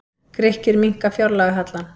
Grikkir minnka fjárlagahallann